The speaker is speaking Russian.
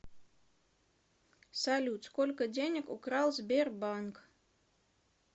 салют сколько денег украл сбербанк